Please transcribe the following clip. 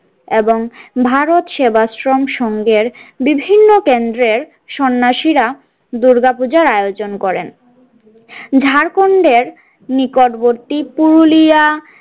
এবং ভারত সেবাশ্রম সঙ্গের বিভিন্ন কেন্দ্রের সন্ন্যাসীরা দূর্গাপূজার আয়োজন করেন ঝাড়খণ্ডের নিকটবর্তী পুরুলিয়া।